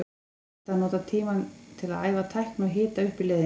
Þegar hægt er að nota tímann til að æfa tækni og hita upp í leiðinni.